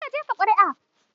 Kar ka jefa ƙuri'a!